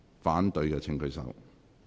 反對的請舉手。